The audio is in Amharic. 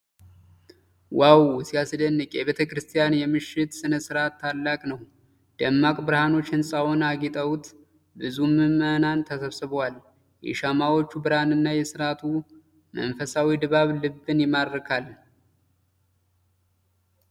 ዋው፣ ሲያስደንቅ! የቤተ ክርስቲያን የምሽት ሥነ ሥርዓት ታላቅ ነው። ደማቅ ብርሃኖች ሕንጻውን አጊጠውት፣ ብዙ ምዕመናን ተሰብስበዋል። የሻማዎቹ ብርሃንና የሥርዓቱ መንፈሳዊ ድባብ ልብን ይማርካል።